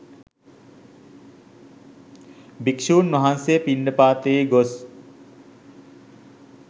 භික්‍ෂූන් වහන්සේ පිණ්ඩපාතයේ ගොස්